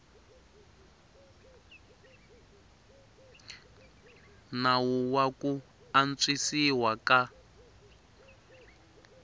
nawu wa ku antswisiwa ka